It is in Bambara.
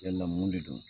Yala mun de don